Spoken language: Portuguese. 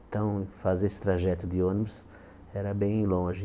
Então fazer esse trajeto de ônibus era bem longe.